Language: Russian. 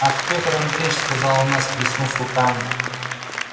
ах пётр андреич сказал она всплеснув руками